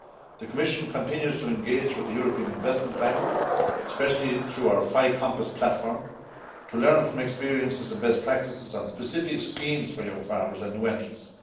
The Commission continues to engage with the European Investment Bank, especially through our fi compass platform, to learn from experiences and best practices on specific schemes for young farmers and new entrants.